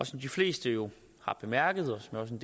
som de fleste jo har bemærket og som